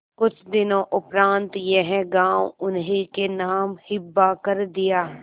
कुछ दिनों उपरांत यह गॉँव उन्हीं के नाम हिब्बा कर दिया